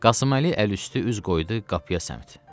Qasıməli əli üstü üz qoydu qapıya səmt.